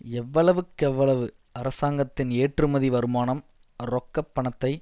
எவ்வளவுக்கெவ்வளவு அரசாங்கத்தின் ஏற்றுமதி வருமானம் ரொக்கப் பணத்தை